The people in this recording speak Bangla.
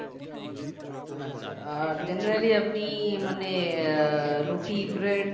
আচ্ছা আর generally আপনি মানে আহ রুটি bread